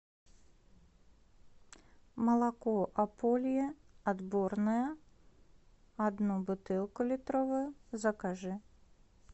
молоко ополье отборное одну бутылку литровую закажи